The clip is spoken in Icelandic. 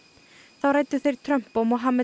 þá ræddu þeir Trump og